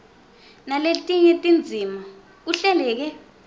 naletinye tindzima kuhleleke